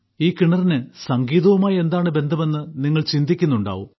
ഈ കിണറിന് സംഗീതവുമായി എന്താണ് ബന്ധമെന്ന് നിങ്ങൾ ചിന്തിക്കുന്നുണ്ടാകും